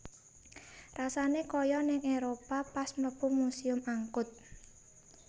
Rasane koyo ning Eropa pas mlebu Museum Angkut